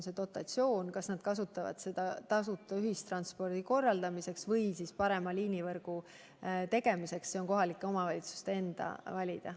See, kas nad kasutavad seda dotatsiooni tasuta ühistranspordi korraldamiseks või parema liinivõrgu kujundamiseks, on kohalike omavalitsuste endi valida.